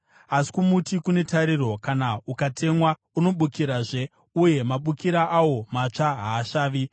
“Asi kumuti kune tariro: Kana ukatemwa, unobukirazve, uye mabukira awo matsva haasvavi.